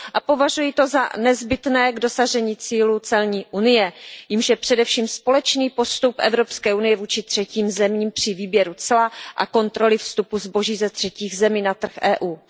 Považuji to za nezbytné k dosažení cíle celní unie, jímž je především společný postup EU vůči třetím zemím při výběru cla a kontroly vstupu zboží ze třetích zemí na trh EU.